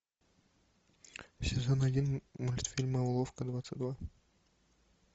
сезон один мультфильма уловка двадцать два